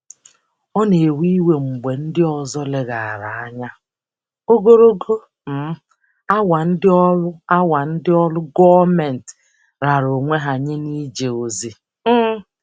Ọ na-ewe iwe mgbe ndị ọzọ leghaara anya ogologo um awa ndị ọrụ awa ndị ọrụ gọọmentị raara onwe ha nye n'ije ozi. um